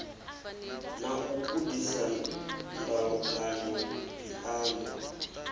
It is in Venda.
na u gudisa ndalukanyo phiano